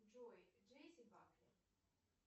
джой джесси паркер